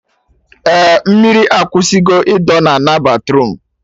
Eh, mmiri akwụsị go ịdọ na ana batruum